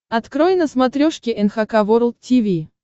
открой на смотрешке эн эйч кей волд ти ви